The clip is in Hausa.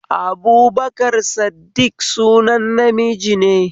Abubakar Saddiƙ sunan na miji